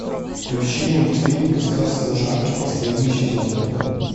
включи мультфильм рассказ служанки последний сезон